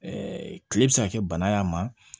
kile bɛ se ka kɛ bana y'a ma